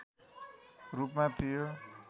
रूपमा थियो